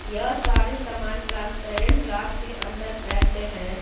यह सारे सामान ट्रांसपेरेंट ग्लास के अंदर पैक्ड हैं।